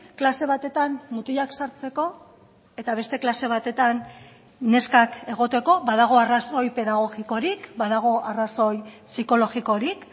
klase batetan mutilak sartzeko eta beste klase batetan neskak egoteko badago arrazoi pedagogikorik badago arrazoi psikologikorik